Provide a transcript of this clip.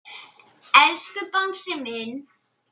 Elsku Bangsi minn.